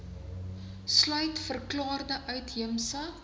sluit verklaarde uitheemse